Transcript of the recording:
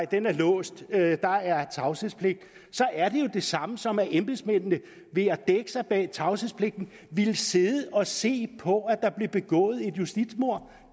den er låst og at der er tavshedspligt så er jo det samme som at embedsmændene ved at dække sig bag tavshedspligten ville sidde og se på at der blev begået et justitsmord